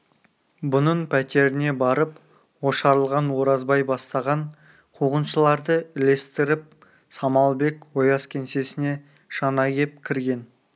бұның пәтеріне барып ошарылған оразбай бастаған қуғыншыларды ілестіріп самалбек ояз кеңсесіне жаңа кеп кірген